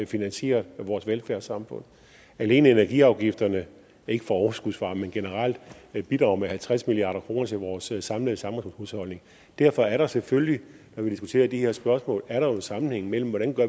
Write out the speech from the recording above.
finansieret vores velfærdssamfund alene energiafgifterne ikke for overskudsvarme men generelt bidrager med halvtreds milliard kroner til vores samlede samfundshusholdning derfor er der selvfølgelig når vi diskuterer de her spørgsmål en sammenhæng mellem hvordan